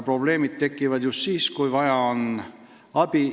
Probleemid tekivad aga siis, kui on vaja abi.